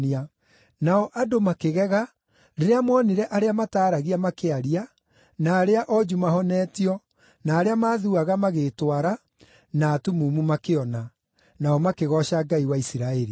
Nao andũ makĩgega rĩrĩa moonire arĩa mataaragia makĩaria, na arĩa onju mahonetio, na arĩa maathuaga magĩĩtwara, na atumumu makĩona. Nao makĩgooca Ngai wa Isiraeli.